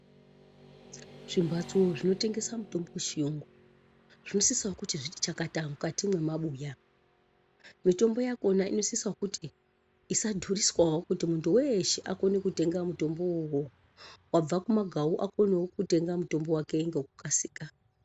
Zvimbatso zvinotengesa mitombo yechiyungu zvinosisawo kuti zviti chakata mukati mwemabuya. Mitombo yakhona inosisawo kuti isadhuriswawo kuti weeshe akone kutenga mutombowo unowo. Wabva kumagawu akone kutenga mutombo ngekukasira.